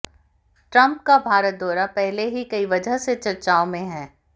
Trump का भारत दौरा पहले ही कई वजह से चर्चाओं में है